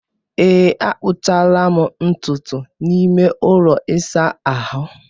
ee, akpụchara m ntutu n'ime ụlọ ịsa ahụ